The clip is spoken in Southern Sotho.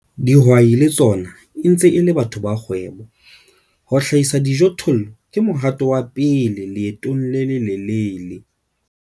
Dihwai le tsona e ntse e le batho ba kgwebo - ho hlahisa dijothollo ke mohato wa pele leetong le lelelele.